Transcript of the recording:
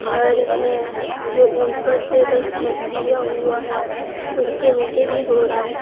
घर है जो ऊपर से बस छत दिया हुआ है उसके नीचे भी घोड़ा है।